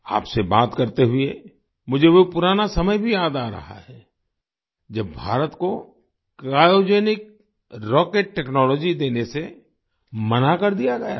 आपसे बात करते हुए मुझे वो पुराना समय भी याद आ रहा है जब भारत को क्रायोजेनिक रॉकेट टेक्नोलॉजी देने से मना कर दिया गया था